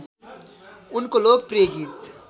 उनको लोकप्रिय गीत